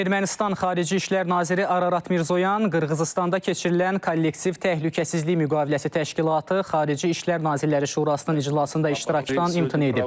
Ermənistan xarici İşlər naziri Ararat Mirzoyan Qırğızıstanda keçirilən kollektiv təhlükəsizlik müqaviləsi təşkilatı xarici İşlər Nazirləri Şurasının iclasında iştirakdan imtina edib.